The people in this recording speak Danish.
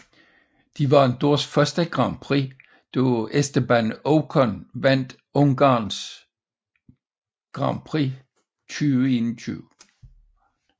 De vandt deres først grand prix da Esteban Ocon vandt Ungarns Grand Prix 2021